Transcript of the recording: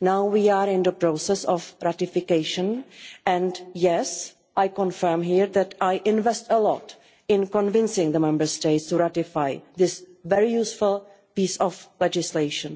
Now we are in the process of ratification, and yes, I confirm here that I invest a lot in convincing the Member States to ratify this very useful piece of legislation.